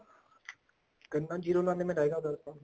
ਗੰਨਾ zero ਨਾਨਵੇਂ ਲਵਾਂਗੇ ਆਪਾਂ